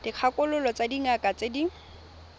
dikgakololo tsa dingaka tse di